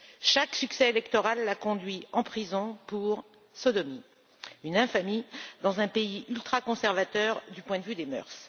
Chaque succès électoral l'a conduit en prison pour sodomie, une infamie dans un pays ultra conservateur du point de vue des mœurs.